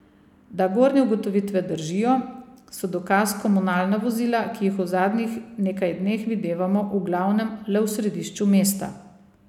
Da gornje ugotovitve držijo, so dokaz komunalna vozila, ki jih v zadnjih nekaj dneh videvamo v glavnem le v središču mesta.